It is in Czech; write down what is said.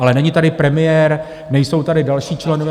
Ale není tady premiér, nejsou tady další členové...